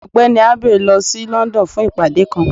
Ọgbẹni Abey lọ sí London fun ìpade kan.